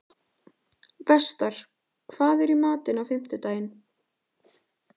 Vestar, hvað er í matinn á fimmtudaginn?